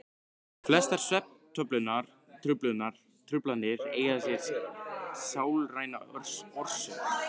Flestar svefntruflanir eiga sér sálræna orsök.